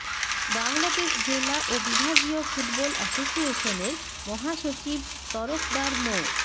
বাংলাদেশ জেলা ও বিভাগীয় ফুটবল অ্যাসোসিয়েশনের মহাসচিব তরফদার মো